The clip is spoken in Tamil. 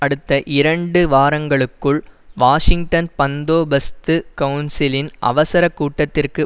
அடுத்த இரண்டு வாரங்களுக்குள் வாஷிங்டன் பந்தோபஸ்து கவுன்சிலின் அவசர கூட்டத்திற்கு